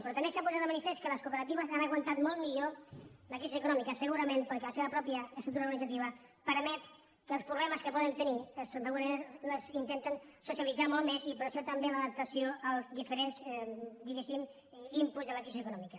però també s’ha posat de manifest que les cooperatives han aguantat molt millor la crisi econòmica segurament perquè la seva pròpia estructura organitzativa permet que els problemes que poden tenir d’alguna manera els intenten socialitzar més i per això també l’adaptació als diferents diguéssim inputs de la crisi econòmica